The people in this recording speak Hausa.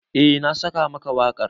Eh na saka maka wakar.